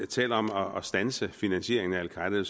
taler om om at standse finansieringen af al qaeda